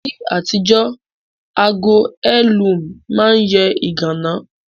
Ní àtijọ́, ago heirloom ma n yẹ ìganá